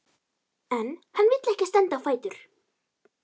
En hann vill ekki standa á fætur.